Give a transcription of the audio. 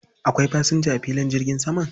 Akwai fasinja a filin jirgin saman?